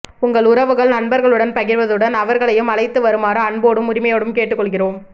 உங்கள் உறவுகள் நண்பர்களுடன் பகிர்வதுடன் அவர்களையும் அழைத்துவருமாறு அன்போடும் உரிமையோடும் கேட்டுக்கொள்கிறோம்